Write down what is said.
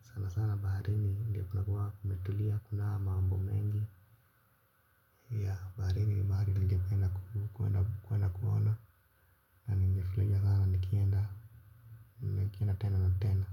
Sana sana baharini ndo kunakuaga kumetulia, hakunaa mambo mengi ya baharini barini ningependa kuenda kuenda ma ningefurahia sna nikienda nikienda tena na tena.